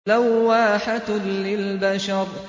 لَوَّاحَةٌ لِّلْبَشَرِ